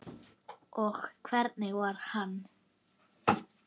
Og hvernig var hann?